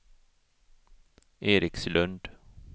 Erikslund